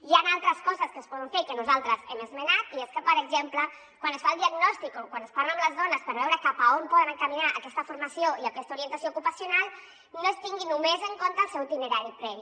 hi han altres coses que es poden fer i que nosaltres hem esmenat i és que per exemple quan es fa el diagnòstic o quan es parla amb les dones per veure cap a on poden encaminar aquesta formació i aquesta orientació ocupacional no es tingui només en compte el seu itinerari previ